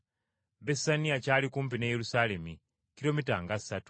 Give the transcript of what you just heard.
Besaniya kyali kumpi ne Yerusaalemi, kilomita nga ssatu.